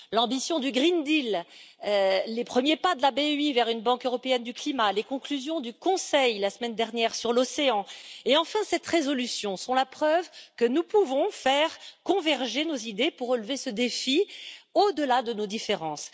L'ambition du pacte vert, les premiers pas de la BEI vers une banque européenne du climat, les conclusions du Conseil sur l'océan la semaine dernière et cette résolution sont la preuve que nous pouvons faire converger nos idées pour relever ce défi, au delà de nos différences.